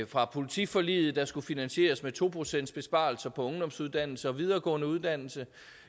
fra politiforliget der skulle finansieres med to procents besparelser på ungdomsuddannelser og videregående uddannelser